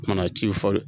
Kana ci fɔ